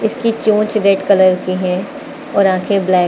इसकी चोंच red colour की है और आंखे ब्लैक --